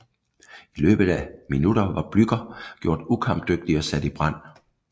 I løbet af minutter var Blücher gjort ukampdygtig og sat i brand